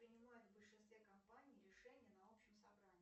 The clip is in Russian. принимают в большинстве компаний решение на общем собрании